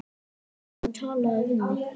Komdu og talaðu við mig